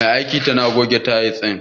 Mai aikin tana goge tayil din.